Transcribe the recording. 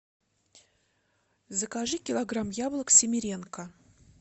закажи килограмм яблок семеренко